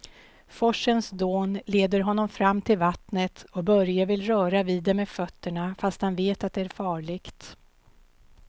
Forsens dån leder honom fram till vattnet och Börje vill röra vid det med fötterna, fast han vet att det är farligt.